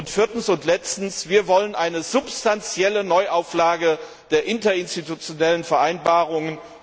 Und viertens und letztens Wir wollen eine substantielle Neuauflage der interinstitutionellen Vereinbarungen.